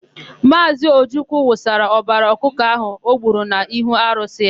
Maazị Ojukwu wụsara ọbara ọkụkọ ahụ o gburu n'ihu arụsị ya.